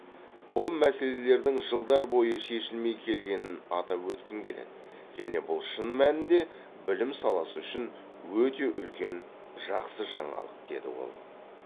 бұл мәселелердің жылдар бойы шешілмей келгенін атап өткім келеді және бұл шын мәнінде білім саласы үшін өте үлкен жақсы жаңалық деді ол